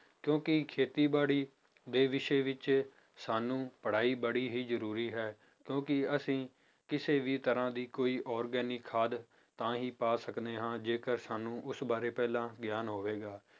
ਕਿਉਂਕਿ ਖੇਤੀਬਾੜੀ ਦੇ ਵਿਸ਼ੇ ਵਿੱਚ ਸਾਨੂੰ ਪੜ੍ਹਾਈ ਬੜੀ ਹੀ ਜ਼ਰੂਰੀ ਹੈ, ਕਿਉਂਕਿ ਅਸੀਂ ਕਿਸੇ ਵੀ ਤਰ੍ਹਾਂ ਦੀ ਕੋਈ organic ਖਾਦ ਤਾਂ ਹੀ ਪਾ ਸਕਦੇ ਹਾਂ ਜੇਕਰ ਸਾਨੂੰ ਉਸ ਬਾਰੇ ਪਹਿਲਾਂ ਗਿਆਨ ਹੋਵੇਗਾ।